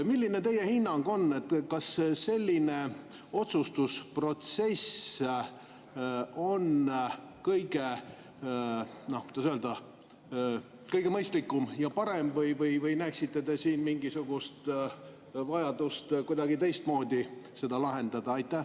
Milline on teie hinnang, kas selline otsustusprotsess on, kuidas öelda, kõige mõistlikum ja parem või näete te mingisugust vajadust seda kuidagi teistmoodi lahendada?